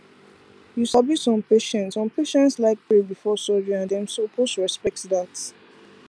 you sabi some patients some patients like pray before surgery and dem suppose respect dat